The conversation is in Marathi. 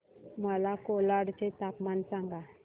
मला कोलाड चे तापमान सांगा